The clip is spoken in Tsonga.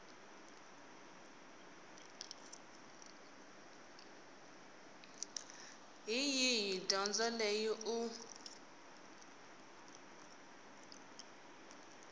hi yihi dyondzo leyi u